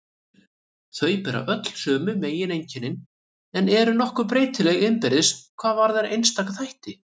Þau bera öll sömu megineinkennin en eru nokkuð breytileg innbyrðis hvað varðar einstaka þætti.